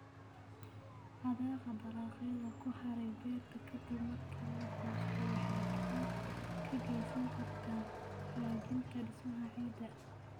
Hadhaaga dalagyada ku haray beerta ka dib marka la goosto waxay gacan ka geysan kartaa hagaajinta dhismaha ciidda.